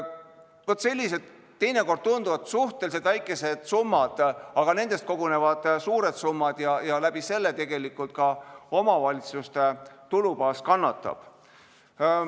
Vaat sellised summad, mis teinekord tunduvad suhteliselt väikesed, aga nendest kogunevad suured summad ja omavalitsuste tulubaas kannatab.